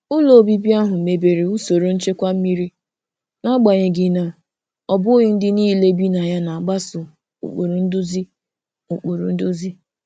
Ụlọ obibi ahụ mebere usoro nchekwa mmiri, n'agbanyeghị na ọ bụghị ndị niile bi na ya na-agbaso ụkpụrụ nduzi. ụkpụrụ nduzi.